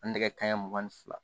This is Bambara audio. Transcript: An nɛgɛ kaɲa mugan ni fila